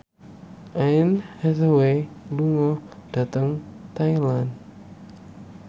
Anne Hathaway lunga dhateng Thailand